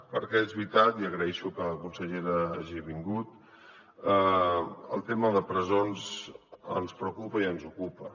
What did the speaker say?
perquè és veritat i agraeixo que la consellera hagi vingut el tema de presons ens preocupa i ens ocupa